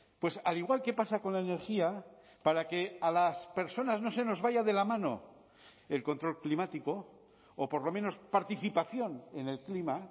pues al igual que pasa con la energía para que a las personas no se nos vaya de la mano el control climático o por lo menos participación en el clima